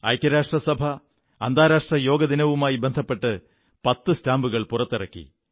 ഐക്യരാഷ്ട്രസഭ അന്താരാഷ്ട്ര യോഗാ ദിനവുമായി ബന്ധപ്പെട്ട് 10 സ്റ്റാമ്പുകൾ പുറത്തിറക്കി